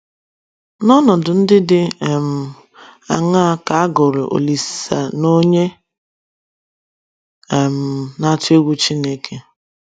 N’ọnọdụ ndị dị um aṅaa ka a gụrụ Olisen’onye um “ na - atụ egwu Chineke ”?